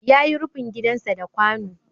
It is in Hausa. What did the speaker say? Ya yi rufin gidansa da kwano.